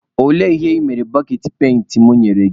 Olee ihe ị mere boketị penti mụ nyere gị?